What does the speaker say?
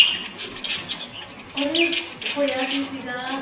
ਅਰੇ ਹੋਇਆ ਕੀ ਸੀਗਾ